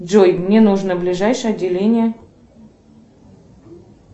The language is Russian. джой мне нужно ближайшее отделение